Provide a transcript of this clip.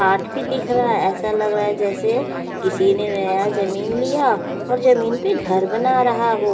हाथ भी दिख रहा है ऐसा लग रहा है जैसे किसी ने मेरा जमीन लिया और जमीन पे घर बना रहा हो।